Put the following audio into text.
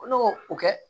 Ko ne b'o o kɛ